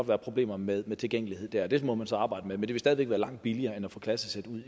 være problemer med tilgængelighed og det må man så arbejde med men det vil stadig væk være langt billigere end at få klassesæt ud